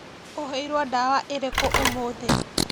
ũheirwo ndawa irĩku ũmũthĩ